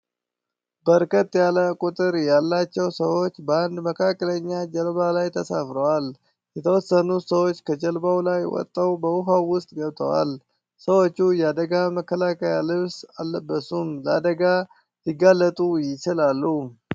በርከት ያለ ቁጥር ያላቸው ሰዎች በአንድ መካከለኛ ጀልባ ላይ ተሳፍረዋል። የተወሰኑት ሰዎች ከጀልባው ላይ ወጥተው በዉሃው ዉስጥ ገብተዋል። ሰዎቹ የአደጋ መከላከያ ልብስ አለበሱም ለአደጋ ሊጋለጡ ይችላሉ።